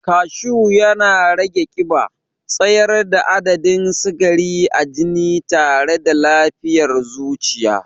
Kashu na rage ƙiba, tsayar da adadin sikari a jini tare da lafiyar zuciya.